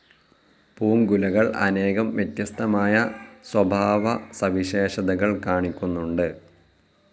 പൂങ്കുലകൾ അനേകം വ്യത്യസ്തമായ സ്വഭാവസവിശേഷതകൾ കാണിക്കുന്നുണ്ട്.